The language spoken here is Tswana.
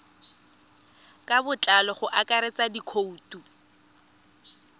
ka botlalo go akaretsa dikhoutu